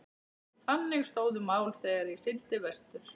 Þannig stóðu mál þegar ég sigldi vestur.